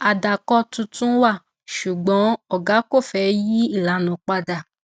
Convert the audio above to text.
àdàkọ tuntun wà ṣùgbọn ògá kò fẹ yí ìlànà padà